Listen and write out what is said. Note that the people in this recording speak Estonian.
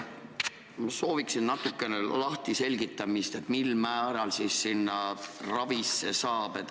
Ma sooviksin natukene selgitamist, kuidas siis ravile saab.